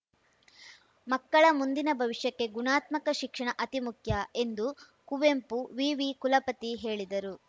ಮಕ್ಕಳ ಮುಂದಿನ ಭವಿಷ್ಯಕ್ಕೆ ಗುಣಾತ್ಮಕ ಶಿಕ್ಷಣ ಅತಿ ಮುಖ್ಯ ಎಂದು ಕುವೆಂಪು ವಿವಿ ಕುಲಪತಿ ಹೇಳಿದರು